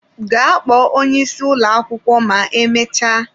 Gaa kpọọ onye isi ụlọ akwụkwọ ma emechaa!